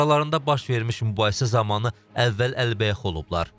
Aralarında baş vermiş mübahisə zamanı əvvəl əlbəyaxı olublar.